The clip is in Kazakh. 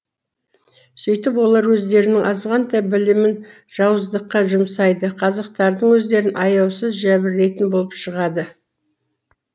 сөйтіп олар өздерінің азғантай білімін жауыздыққа жұмсайды қазақтардың өздерін аяусыз жәбірлейтін болып шығады